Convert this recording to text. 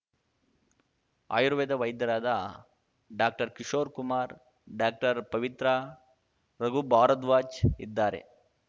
ಆಯುರ್ವೇದ ವೈದ್ಯರಾದ ಡಾಕ್ಟರ್ಕಿಶೋರ್‌ಕುಮಾರ್‌ಡಾಕ್ಟರ್ಪವಿತ್ರ ರಘು ಭಾರದ್ವಾಜ್‌ ಇದ್ದಾರೆ